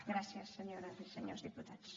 gràcies senyores i senyors diputats